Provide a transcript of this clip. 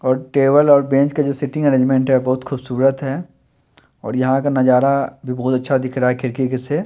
और टेबल और बेंच का जो सीटिंग अरेंजमेंट है बहुत खूबसूरत है और यहां का नजारा भी बहुत अच्छा दिख रहा है खिड़की के से।